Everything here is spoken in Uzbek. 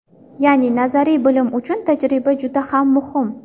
Ya’ni nazariy bilm uchun tajriba juda ham muhim.